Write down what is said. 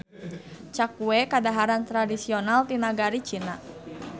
Cakue kadaharan tradisional ti nagari Cina.